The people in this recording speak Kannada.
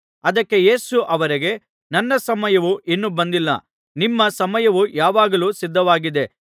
ಅದಕ್ಕೆ ಯೇಸು ಅವರಿಗೆ ನನ್ನ ಸಮಯವು ಇನ್ನೂ ಬಂದಿಲ್ಲ ನಿಮ್ಮ ಸಮಯವು ಯಾವಾಗಲೂ ಸಿದ್ಧವಾಗಿದೆ